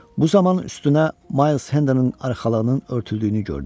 Bu zaman üstünə Miles Hendonun arxalığının örtüldüyünü gördü.